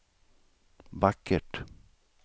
vackert